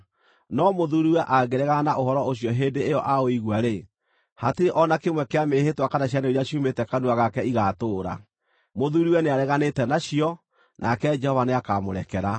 No mũthuuriwe angĩregana na ũhoro ũcio hĩndĩ ĩyo aũigua-rĩ, hatirĩ o na kĩmwe kĩa mĩĩhĩtwa kana ciĩranĩro iria ciumĩte kanua gake igaatũũra. Mũthuuriwe nĩareganĩte nacio, nake Jehova nĩakamũrekera.